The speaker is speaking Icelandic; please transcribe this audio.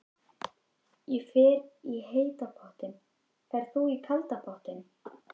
Ég fer í heita pottinn. Ferð þú í kalda pottinn?